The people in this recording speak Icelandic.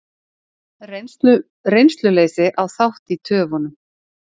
Reynsluleysi á þátt í töfunum